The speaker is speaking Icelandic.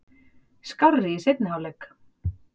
Skárri í seinni hálfleik.